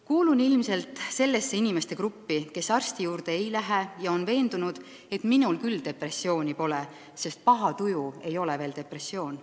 "Kuulun ilmselt sellesse inimeste gruppi, kes arsti juurde ei lähe ja on veendunud, et minul küll depressiooni pole, sest paha tuju ei ole veel depressioon.